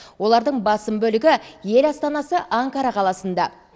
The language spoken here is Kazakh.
олардың басым бөлігі ел астанасы анкара қаласында